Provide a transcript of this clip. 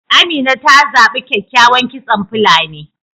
Amina ta zabi kyakykyawan kitson fulani